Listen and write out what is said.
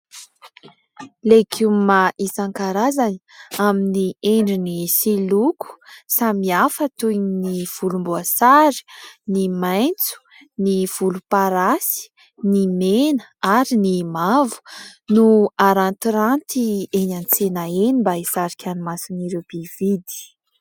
Legioma isankarazany amin'ny endriny sy loko samihafa, toy ny : volomboasary, ny maitso, ny volomparasy, ny mena, ary ny mavo... no arantiranty eny an-tsena eny mba hisarika ny mason' ireo mpividy.